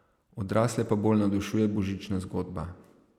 Odrasle pa bolj navdušuje božična zgodba.